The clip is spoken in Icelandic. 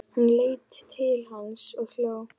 Hún leit til hans og hló.